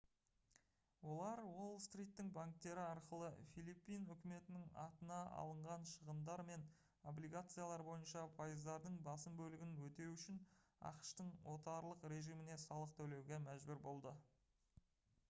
олар уолл-стриттің банктері арқылы филиппин үкіметінің атына алынған шығындар мен облигациялар бойынша пайыздардың басым бөлігін өтеу үшін ақш-тың отарлық режиміне салық төлеуге мәжбүр болды